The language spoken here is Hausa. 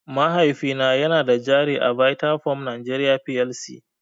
Mahaifina yana da jari a Vitafoam Nigeria Plc.